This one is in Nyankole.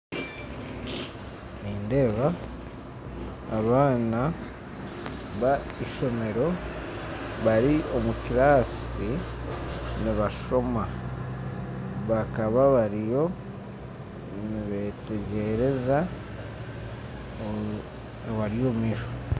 Nindeeba abaana ba isomero bari omu kirasi nibashoma bakaba bariyo nibetegyereza abari omu maisho